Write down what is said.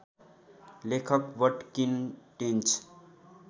लेखक वटकिन टेन्च